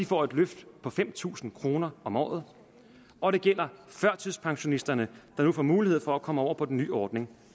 får et løft på fem tusind kroner om året og det gælder førtidspensionisterne der nu får mulighed for at komme over på den nye ordning